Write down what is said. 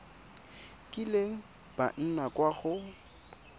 kileng ba nna kwa go